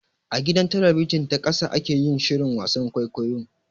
A gidan talabijin ta ƙasa ake yin shirin wasan kwaikwayon.